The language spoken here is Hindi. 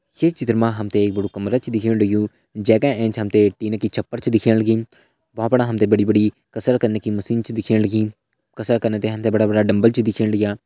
ये चित्र मा हम ते एक बड़ु कमरा छ दिखेण लग्युं जै का एंच हम ते टीन की छपर छ दिखेण लगीं भ्वाँ फणा हम ते बड़ी बड़ी कसरत कने की मशीन छ दिखेण लगीं कसरत कने ता हम ते बड़ा बड़ा डम्बल छ दिखेण लग्यां।